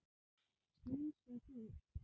Strunsa burtu.